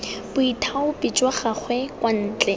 boithaopi jwa gagwe kwa ntle